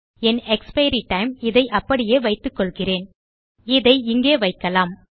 என் expiry time இதை அப்படியே வைத்துக்கொள்கிறேன் இதை இங்கே வைக்கலாம்